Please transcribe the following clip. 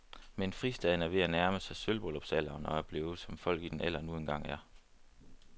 Men fristaden er ved at nærme sig sølvbryllupsalderen og er blevet, som folk i den alder nu engang er.